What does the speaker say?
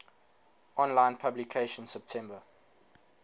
online publication september